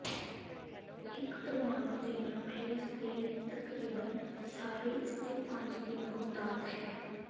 ਇੱਕ ਪ੍ਰਮਾਣੂ ਦੇ ਨਿਊਕਲੀਅਸ ਦੇ ਤਕਰੀਬਨ ਸਾਰੇ ਇਸ ਦੇ ਪੁੰਜ ਦੀ ਬਹੁਤਾਤ ਹੈ